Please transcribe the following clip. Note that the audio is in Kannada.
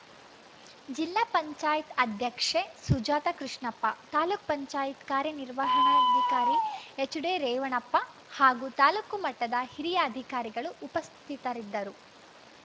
ಜಿಲ್ಲಾ ಪಂಚಾಯತ್ ಅಧ್ಯಕ್ಷೆ ಸುಜಾತ ಕೃಷ್ಣಪ್ಪ ತಾಲೂಕ್ ಪಂಚಾಯತ್ ಕಾರ್ಯನಿರ್ವಹಣಾಧಿಕಾರಿ ಎಚ್‌ಡಿ ರೇವಣ್ಣಪ್ಪ ಹಾಗೂ ತಾಲೂಕು ಮಟ್ಟದ ಹಿರಿಯ ಅಧಿಕಾರಿಗಳು ಉಪಸ್ಥಿತರಿದ್ದರು